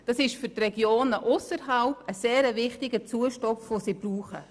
Das ist für die Regionen ausserhalb der Zentren ein sehr wichtiger und dringend benötigter Zustupf.